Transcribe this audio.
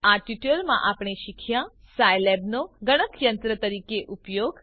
આ ટ્યુટોરીયલમાં આપણે શીખ્યા સાયલેબનો ગણકયંત્ર તરીકે ઉપયોગ